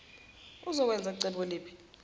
uzokwenza cebo liphi